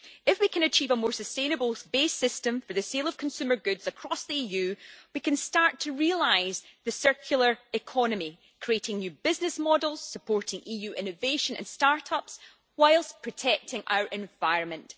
If we can achieve a more sustainable base system for the sale of consumer goods across the EU we can start to realise the circular economy, creating new business models and supporting EU innovation and start ups whilst protecting our environment.